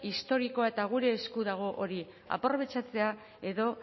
historikoa eta gure esku dago hori aprobetxatzea edo